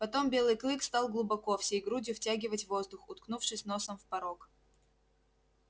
потом белый клык стал глубоко всей грудью втягивать воздух уткнувшись носом в порог